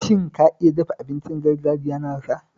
Shin ka iya dafa abincin gargajiya na Hausa?